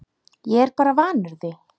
Ég er bara vanur því